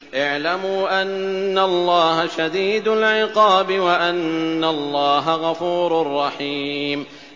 اعْلَمُوا أَنَّ اللَّهَ شَدِيدُ الْعِقَابِ وَأَنَّ اللَّهَ غَفُورٌ رَّحِيمٌ